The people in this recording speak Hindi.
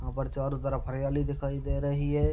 यहां पर चारों तरफ हरियाली दिखाई दे रही है।